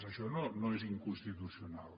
això no és inconstitucional